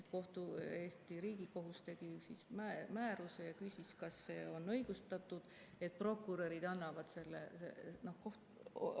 Riigikohus tegi määruse ja küsis, kas on õigustatud, et prokurörid.